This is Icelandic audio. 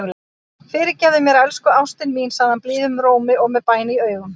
Fyrirgefðu mér, elsku ástin mín, segir hann blíðum rómi og með bæn í augum.